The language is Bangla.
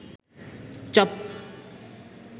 চপ